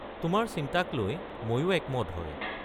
তোমাৰ চিন্তাকলৈ মইও একমত হয়।